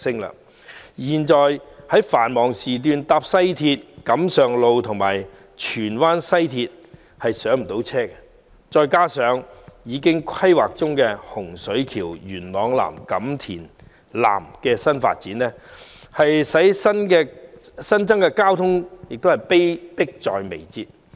現時在繁忙時段乘搭西鐵，錦上路站和荃灣西站也難以上車，加上規劃中的洪水橋、元朗南及錦田南的新發展，令新增的交通問題迫在眉睫。